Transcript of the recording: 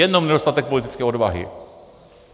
Jenom nedostatek politické odvahy.